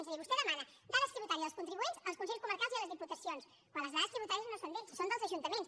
és a dir vostè demana dades tributàries dels contribuents als consells comarcals i a les diputacions quan les dades tributàries no són d’ells són dels ajuntaments